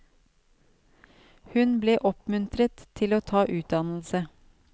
Hun ble oppmuntret til å ta utdannelse.